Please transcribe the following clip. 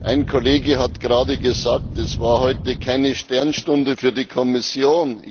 Ein Kollege hat gerade gesagt Es war heute keine Sternstunde für die Kommission.